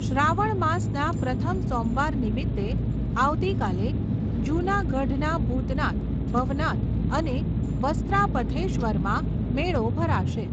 શ્રાવણ માસના પ્રથમ સોમવાર નિમિત્તે, આવતીકાલે જૂનાગઢના ભુતનાથ, ભવનાથ અને વસ્ત્રા પથેશ્વરમાં મેળો ભરાશે.